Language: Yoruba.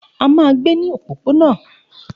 A máa gbé ní òpópónà